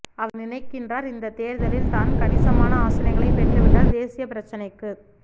அவர் நினைக்கின்றார் இந்தத் தேர்தலில் தான் கணிசமான ஆசனங்களைப் பெற்றுவிட்டால் தேசிய பிரச்சினைக்குத்